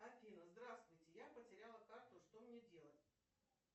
афина здравствуйте я потеряла карту что мне делать